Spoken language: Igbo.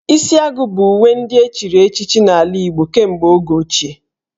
Isi agu bụ uwe ndị echiri echichi n'ala Igbo kemgbe oge ochie